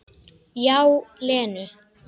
Já, Lenu.